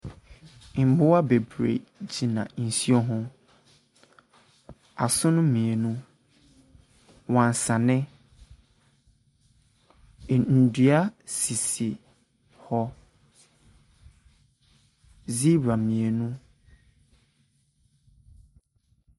Mmoa bebree gyina nsuo ho. Asono mmienu, wansane. Ɛn nnua sisi hɔ. Zebra mmienu.